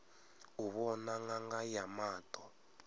u vhona ṅanga ya maṱo